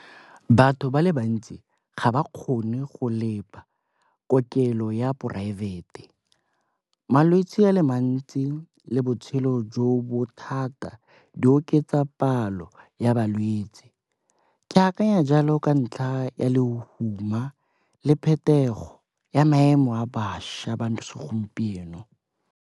Batho ba le bantsi ga ba kgone go kokelo ya poraefete. Malwetsi a le mantsi le botshelo jo bo thata di oketsa palo ya balwetsi. Ke akanya jalo ka ntlha ya lehuma le phetogo ya maemo a bašwa ba segompieno.